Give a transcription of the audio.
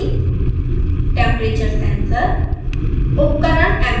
heater assembly temperature sensor